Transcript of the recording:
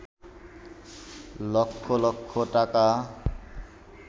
লক্ষ লক্ষ টাকা